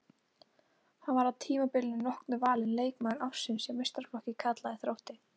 Hann var að tímabilinu loknu valinn leikmaður ársins hjá meistaraflokki karla í Þrótti.